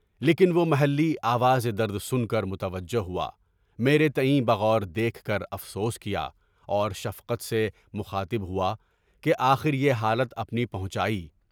لیکن وہ محلیہ آواز درد سن کر متوجہ ہوا، میرے تایئں بغیر دیکھ کر افسوس کیا اور شفقت سے مخاطب ہوا کہ اپنی آخری حالت پہنچائی۔